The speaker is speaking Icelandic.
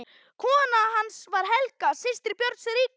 Kona hans var Helga, systir Björns ríka.